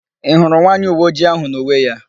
Ị hụrụ nwaanyị uweojii áhụ̀ n'uwe ya?